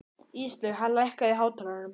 Íslaug, lækkaðu í hátalaranum.